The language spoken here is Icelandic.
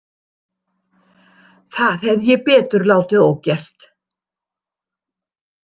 Það hefði ég betur látið ógert.